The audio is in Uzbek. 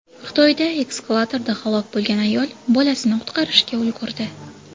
Xitoyda eskalatorda halok bo‘lgan ayol bolasini qutqarishga ulgurdi .